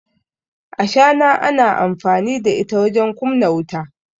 ashana ana amfani da ita wajen kumna wuta